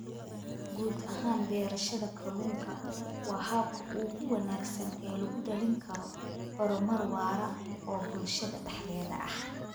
Guud ahaan, beerashada kalluunku waa habka ugu wanaagsan ee lagu dhalin karo horumar waara oo bulshada dhexdeeda ah.